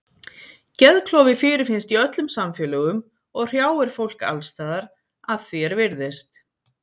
Geðklofi fyrirfinnst í öllum samfélögum og hrjáir fólk alls staðar að því er virðist.